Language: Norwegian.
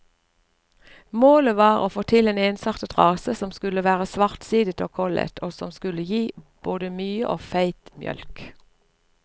Målet var å få til en ensartet rase som skulle være svartsidet og kollet, og som skulle gi både mye og feit mjølk.